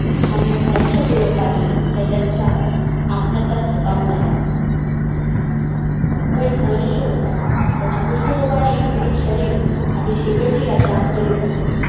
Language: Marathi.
थांबून लक्षपूर्वक पाहिले तर त्यांच्या आत्म्याचा थकाप उडाला तो एक मनुष्य होता त्याची कुष्ठरोगाने पीडित शरीर आपली शेवटची यात्रा करीत होते